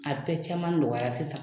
A bɛɛ caman nɔgɔyara sisan.